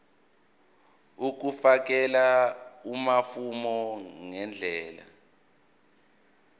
ukufakela amafomu ngendlela